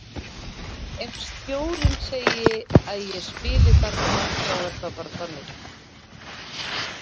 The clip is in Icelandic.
Ef stjórinn segi að ég spili þarna þá er það bara þannig.